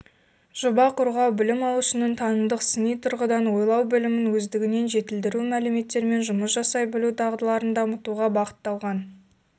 жоба қорғау білім алушының танымдық сыни тұрғыдан ойлау білімін өздігінен жетілдіру мәліметтермен жұмыс жасай білу дағдыларын дамытуға ба-ғытталған